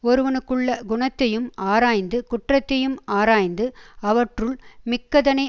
ஒருவனுக்குள்ள குணத்தையும் ஆராய்ந்து குற்றத்தையும் ஆராய்ந்து அவற்றுள் மிக்கதனை